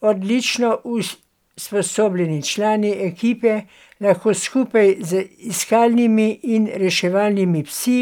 Odlično usposobljeni člani ekipe lahko skupaj z iskalnimi in reševalnimi psi